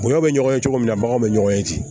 Gɔyɔ bɛ ɲɔgɔn ye cogo min na baganw bɛ ɲɔgɔn ye ten